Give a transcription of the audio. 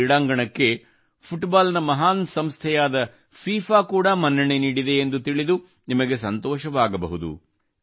ಈ ಕ್ರೀಡಾಂಗಣಕ್ಕೆ ಫುಟ್ಬಾಲ್ ನ ಮಹಾನ್ ಸಂಸ್ಥೆಯಾದ ಫೀಫಾ ಕೂಡಾ ಮನ್ನಣೆ ನೀಡಿದೆ ಎಂದು ತಿಳಿದು ನಿಮಗೆ ಸಂತೋಷವಾಗಬಹುದು